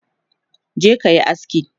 je kayi aski!